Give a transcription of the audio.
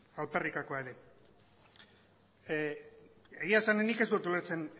alperrikakoa ere egia esan nik ez dut ulertzen